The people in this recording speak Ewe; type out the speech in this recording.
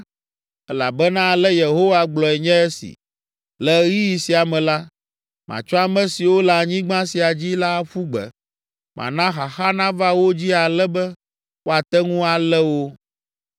Elabena ale Yehowa gblɔe nye esi: “Le ɣeyiɣi sia me la, matsɔ ame siwo le anyigba sia dzi la aƒu gbe. Mana xaxa nava wo dzi ale be woate ŋu alé wo.”